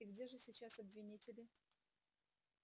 и где же сейчас обвинители